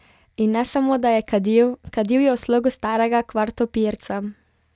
In ne samo da je kadil, kadil je v slogu starega kvartopirca.